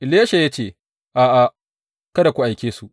Elisha ya ce, A’a, kada ku aike su.